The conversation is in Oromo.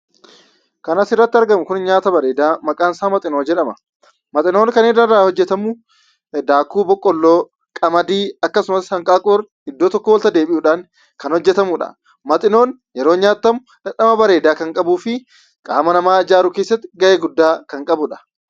Kan asirratti argamu kuni nyaata bareedaa maqaansaa maxinoo jedhama. Maxinoon kan irraa hojjetamu daakuu boqqolloo, qamadii akkasumas hanqaaquu iddoo tokkoo walitti deebi'uudhaan kan hojjetamudha. Maxinoon yeroo nyaattamu dhamdhama bareedaa kan qabuu fi qaama namaa ijaaruu keessatti ga'ee guddaa kan qabudha.